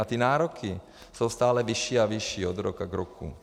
A ty nároky jsou stále vyšší a vyšší od roku k roku.